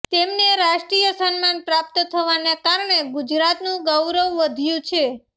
તેમને રાષ્ટ્રીય સન્માન પ્રાપ્ત થવાને કારણે ગુજરાતનું ગૌરવ વધ્યું છે